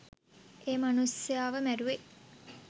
ඒ මනුස්සයාව මැරුවේ.